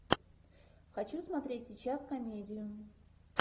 хочу смотреть сейчас комедию